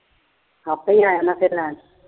ਆਪੇ ਆ ਜਾਣਾ ਫਿਰ ਲੈਣ।